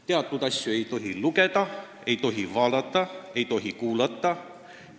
Teatud asju ei tohi lugeda, ei tohi vaadata, ei tohi kuulata.